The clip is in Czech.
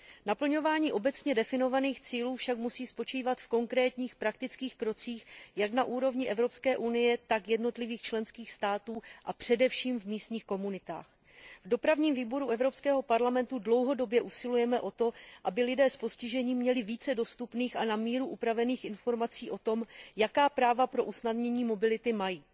Naplňování obecně definovaných cílů však musí spočívat v konkrétních praktických krocích jak na úrovni Evropské unie, tak jednotlivých členských států, a především na úrovni místních komunit. Ve Výboru pro dopravu a cestovní ruch Evropského parlamentu dlouhodobě usilujeme o to, aby lidé s postižením měli více dostupných a na míru upravených informací o tom, jaká práva pro usnadnění mobility mají.